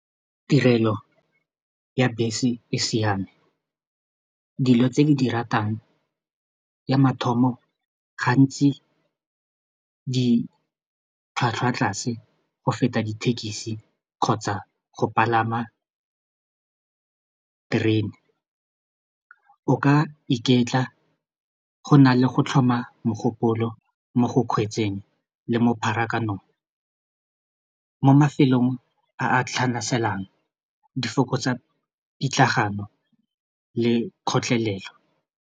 Tirelo ya bese e siame dilo tse ke di ratang ya mathomo gantsi ditlhwatlhwa tlase go feta dithekisi kgotsa go palama terene, o ka iketla go na le go tlhoma mogopolo mo go kgweetseng le mo pharakanong mo mafelong a a tlhanaselang di fokotsa pitlagano le kgotlelelo.